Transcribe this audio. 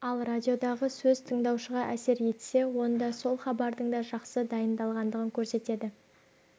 ал радиодағы сөз тыңдаушыға әсер етсе онда сол хабардың да жақсы дайындалғандығын көрсетеді